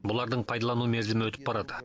бұлардың пайдалану мерзімі өтіп барады